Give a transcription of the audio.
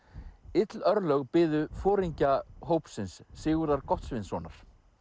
ill örlög biðu foringja hópsins Sigurðar Gottsvinssonar